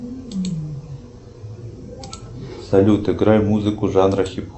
салют играй музыку жанра хип хоп